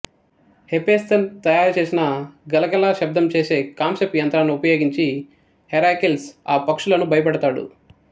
Hephaestus తయారు చేసిన గలగల శబ్దం చేసే కాంస్యపు యంత్రాన్ని ఉపయోగించి హెరాకిల్స్ ఆ పక్షులను భయపెడతాడు